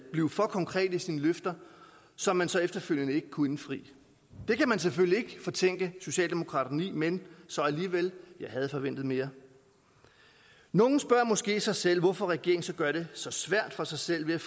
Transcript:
blive for konkret i sine løfter som man så efterfølgende ikke kunne indfri det kan man selvfølgelig ikke fortænke socialdemokraterne i men så alligevel jeg havde forventet mere nogle spørger måske sig selv hvorfor regeringen så gør det så svært for sig selv ved